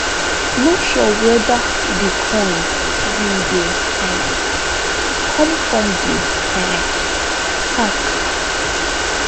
no sure weda di coins bin dey um come from di um hack